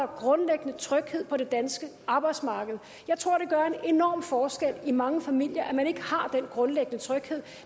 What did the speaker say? grundlæggende tryghed på det danske arbejdsmarked jeg tror at enorm forskel i mange familier at man ikke har den grundlæggende tryghed